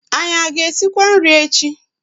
Anyị a ga-esikwa nri echi?